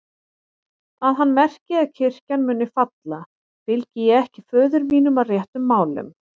Að hann merki að kirkjan muni falla, fylgi ég ekki föður mínum að réttum málum.